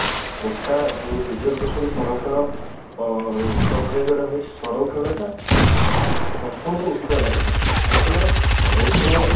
quota ଯଉ reservation ସଂରକ୍ଷଣ ଅ ପ୍ରକ୍ରିୟା ଯଉଟା ରହିଛି ସଂରକ୍ଷଣ ଟା ଅ ପ୍ରଥମରୁ ଉଠିବା ଦରକାର କାହିଁକି ନା ସଂରକ୍ଷଣ